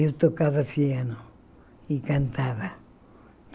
Eu tocava piano e cantava.